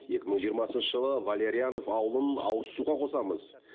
екі мың жиырмасыншы жылы валерьянов ауылын ауызсуға қосамыз